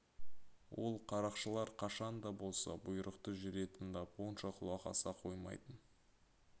ол қарақшылар қашан да болса бұйрықты жүре тыңдап онша құлақ аса қоймайтын